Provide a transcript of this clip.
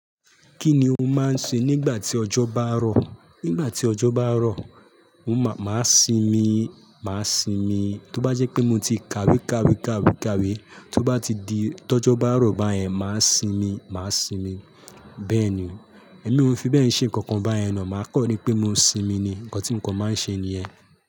Kí ni o máa ń ṣe nígbà tí ọjọ́ bá rọ̀? Nígbà tí ọjọ́ bá rọ̀, mo má, máa sinmi, máa sinmi. Tí ó bá jẹ́ pé mo ti kàwé, kàwé, kàwé, kàwé, tí ó bá ti di tọ́jọ́ bá rọ̀ báyẹn, máa sinmi, máa sinmi. Bẹ́ẹ̀ni, èmi ò fi bẹ́ẹ̀ ṣe nǹkan báyẹn naa, màá kọ rí pé mo sinmi ni, ǹkan tí kò máa ń ṣe nìyẹn.